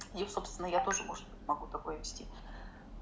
я собственно я тоже может могу такое вести